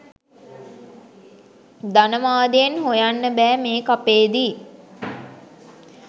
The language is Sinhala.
ධනවාදයෙන් හොයන්න බෑ මේ කපේදි.